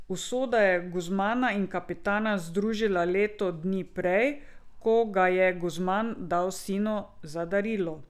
Usoda je Guzmana in Kapitana združila leto dni prej, ko ga je Guzman dal sinu za darilo.